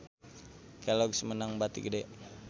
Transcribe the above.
Kelloggs meunang bati gede